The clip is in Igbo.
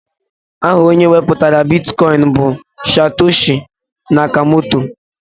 Aha onye wepụtara bitkọin bụ Satoshi Nakamoto.